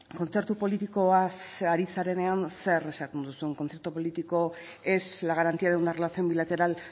kontzertu politikoaz ari zarenean zer esaten duzun concierto económico es la garantía de una relación bilateral